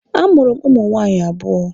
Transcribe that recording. A mụrụ m ụmụ nwaanyị abụọ.